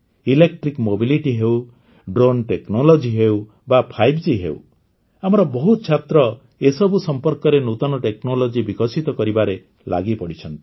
electric mobility ହେଉ drone technology ହେଉ ବା 5G ହେଉ ଆମର ବହୁତ ଛାତ୍ର ଏସବୁ ସମ୍ପର୍କରେ ନୂତନ ଟେକ୍ନୋଲୋଜି ବିକଶିତ କରିବାରେ ଲାଗିପଡ଼ିଛନ୍ତି